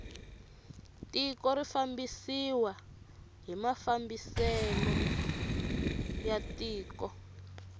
tiko ri fambisiwa hi mafambiselo ya tiko